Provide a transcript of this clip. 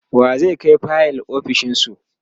wa zai Kai fayil ofishinsu?